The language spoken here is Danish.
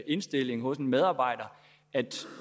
indstilling hos en medarbejder at